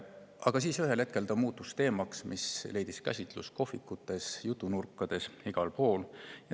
Aga ühel hetkel muutus ta teemaks, mis leidis käsitlust kohvikutes, jutunurkades, igal pool.